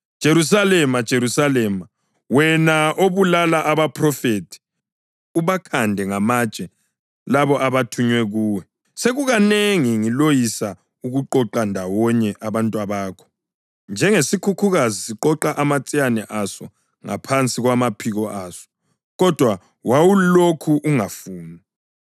Jerusalema, Jerusalema, wena obulala abaphrofethi, ubakhande ngamatshe labo abathunywe kuwe, sekukanengi ngiloyisa ukuqoqa ndawonye abantwabakho, njengesikhukhukazi siqoqa amatsiyane aso ngaphansi kwamaphiko aso, kodwa wawulokhu ungafuni!